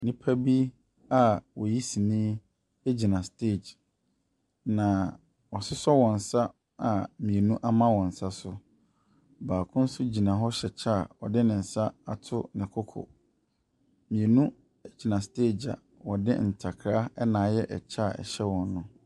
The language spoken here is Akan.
Nnipa bi a wɔyi sini egyina steg. Na wa susɔ wɔn nsa a mmienu ama wɔn nsa so. Baako nso egyina hɔ ahyɛ kyɛ a ɔde nsa ato ne koko. Mmienu egyina steg a wɔde ntakra ayɛ kyɛ a ɛhyɛ wɔn nom.